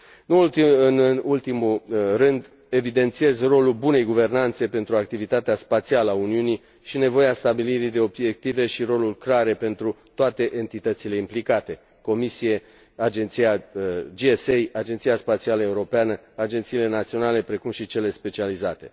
Nu în ultimul rând, evidențiez rolul bunei guvernanțe pentru activitatea spațială a Uniunii și nevoia stabilirii de obiective și roluri clare pentru toate entitățile implicate Comisie, GSA, Agenția Spațială Europeană, agențiile naționale, precum și cele specializate.